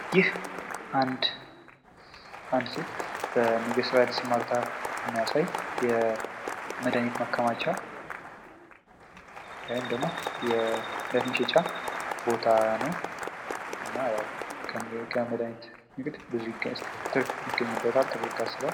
ይህ አንድ ሴት በንግድ ስራ ላይ ተሰማርታ የሚያሳይ የመድኃኒት ማከማቻ ወይም ደግሞ የመድሃኒት መሸጫ ቦታ ነው ።እና ያው ከመድሃኒት ንግድ ብዙ ትርፍ ይገኝበታል ተብሎ ይታሰባል።